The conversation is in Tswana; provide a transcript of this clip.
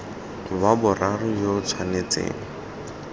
wa boraro yo o tshwanetseng